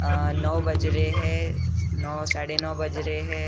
नौ बज रहे हैं नौ साढ़े नौ बज रहे है।